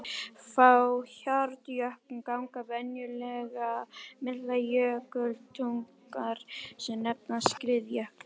Frá hjarnjöklum ganga venjulega miklar jökultungur sem nefnast skriðjöklar.